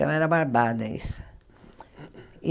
Então era barbada isso.